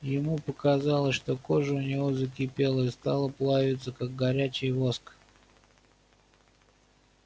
ему показалось что кожа у него закипела и стала плавиться как горячий воск